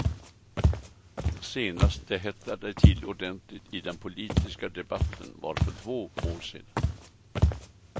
Senast det hettade till ordentligt i den politiska debatten var för två år sedan.